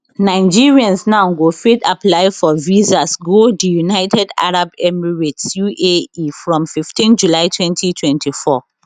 nigerians now go fit apply for visas go di united arab emirates uae from 15 july 2024